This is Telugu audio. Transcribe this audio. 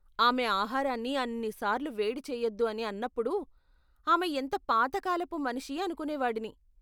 ఆమె ఆహారాన్ని అన్ని సార్లు వేడి చెయ్యొద్దు అని అన్నపుడు, ఆమె ఎంత పాత కాలపు మనిషి అనుకునేవాడిని.